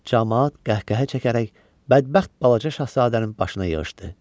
Camaat qəhqəhə çəkərək bədbəxt balaca Şahzadənin başına yığışdı.